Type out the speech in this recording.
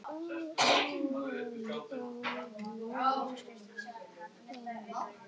Menningarverðmætin þar mega hvíla í friði.